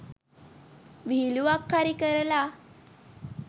විහිළුවක් හරි කරලා